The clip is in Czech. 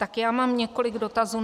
Tak já mám několik dotazů.